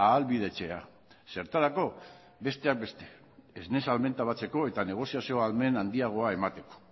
ahalbidetzea zertarako besteak beste esne salmenta batzeko eta negoziazio ahalmen handiagoa emateko